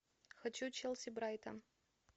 хочу челси брайтон